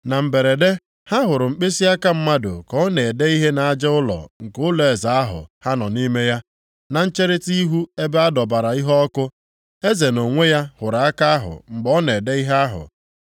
Na mberede, ha hụrụ mkpịsịaka mmadụ ka ọ na-ede ihe nʼaja ụlọ nke ụlọeze ahụ ha nọ nʼime ya, na ncherita ihu ebe a dọbara iheọkụ. Eze nʼonwe ya hụrụ aka ahụ mgbe ọ na-ede ihe ahụ.